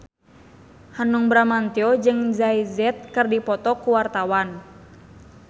Hanung Bramantyo jeung Jay Z keur dipoto ku wartawan